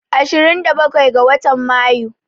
Ashirin da bakwai ga watan Mayu